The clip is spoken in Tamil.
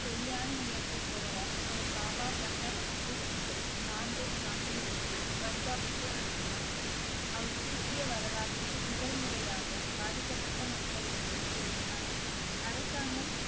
சரியான நேரத்தில் தொடர அவர் பாபா பண்டா பகதூர் சிங்கை நாந்தேட் நாட்டிலிருந்து பஞ்சாபுக்கு அனுப்பினார் அவர் சீக்கிய வரலாற்றில் முதல் முறையாக பாதிக்கப்பட்ட மக்களுக்கு உதவினார் அரசாங்கம்